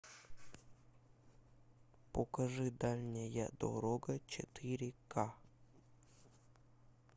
покажи дальняя дорога четыре ка